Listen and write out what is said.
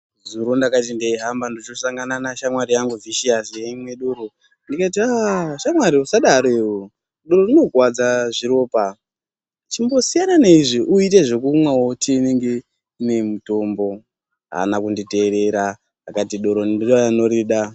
Zuro ndakati ndeyi hamba ndocho sangana na shamwari yangu Vhishiyasi yeimwe doro ndikati haaa shamwari yangu usadaro iwewe doro rinokwadza zviropa chimbosiyana ne izvi uite zvekumwawo tivinge ne mutombo haana kundi teerera akati doro ndiye anodorida.